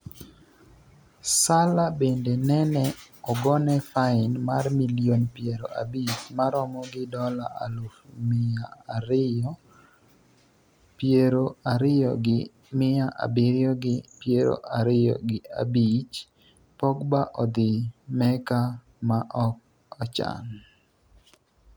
Salla bende nene ogone fain mar milion piero abich maromo gi dola aluf miya abiriyo piero ariyo, gi miya abiriyo gi piero ariyo gi abich Pogba odhi Mecca ma ok ochan